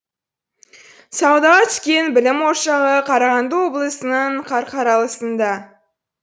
саудаға түскен білім ошағы қарағанды облысының қарқаралысында